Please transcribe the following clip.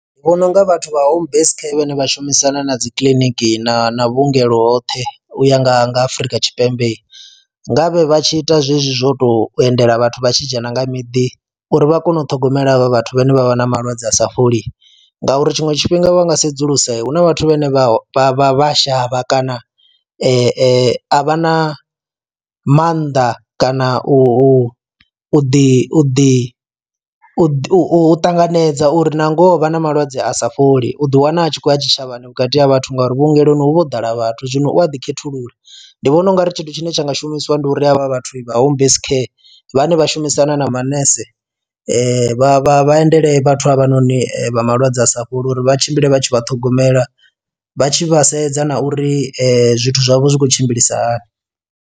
Ndi vhona unga vhathu vha home base care vhane vha shumisana na dzi kiḽiniki na na vhuongelo hoṱhe u ya nga nga Afurika Tshipembe nga vhe vhatshi ita zwezwi zwo to endela vhathu vha tshi dzhena nga miḓi uri vha kone u ṱhogomela havha vhathu vhane vha vha na malwadze a sa fholi, ngauri tshiṅwe tshifhinga vha nga sedzulusa huna vhathu vhane vha vha vha a shavha kana a vha na maanḓa kana u ḓi ḓi u ṱanganedza uri na ngoho vha na malwadze a sa fholi u ḓi wana a tshi khou ya tshitshavhani vhukati ha vhathu ngauri vhuongeloni hu vha ho ḓala vhathu zwino u a ḓi khethulula. Ndi vhona ungari tshithu tshine tsha nga shumisiwa ndi uri havha vhathu vha homebase care vhane vha shumisana na manese vha vha vha endele vhathu havha noni vha malwadze a sa fholi uri vha tshimbile vha tshi vha ṱhogomela vha tshi vha sedza na uri zwithu zwavho zwi khou tshimbilisa hani.